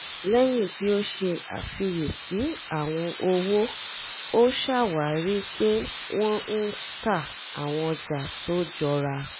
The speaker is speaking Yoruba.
lẹ́yìn tí ó ṣe àfíyẹ̀sí àwọn owó ó ṣàwárí pé wọ́n ń tà àwọn ọjà tó jọra